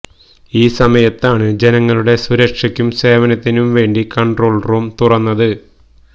ഈ സമയത്താണ് ജനങ്ങളുടെ സുരക്ഷയ്ക്കും സേവനത്തിനും വേണ്ടി കണ്ട്രോള് റൂം തുറന്നത്